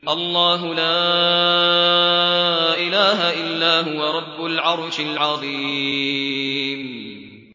اللَّهُ لَا إِلَٰهَ إِلَّا هُوَ رَبُّ الْعَرْشِ الْعَظِيمِ ۩